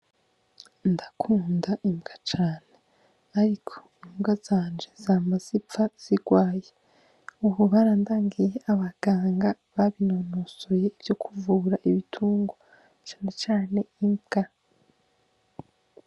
Ndakunda imbwa cane. Ariko imbwa zanje zama zipfa zigwaye. Ubu barandangiye abaganga babinonosoye ivyo kuvura ibitungwa, cane cane imbwa.